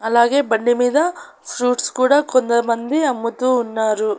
అలాగే బండిమీద ఫ్రూట్స్ కూడా కొందమంది అమ్ముతూ ఉన్నారు.